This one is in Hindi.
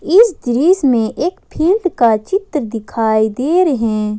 इस दृश्य में एक फील्ड का चित्र दिखाई दे रहे हैं।